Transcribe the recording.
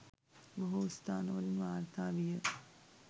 බොහෝ ස්ථාන වලින් වාර්තා විය